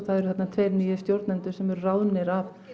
það eru þarna tveir nýir stjórnendur sem eru ráðnir af